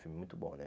Filme muito bom, né?